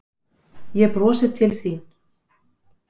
Ég brosi til þín.